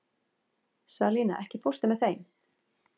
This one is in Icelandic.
Salína, ekki fórstu með þeim?